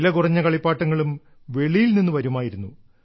വില കുറഞ്ഞ കളിപ്പാട്ടങ്ങളും വെളിയിൽ നിന്നു വരുമായിരുന്നു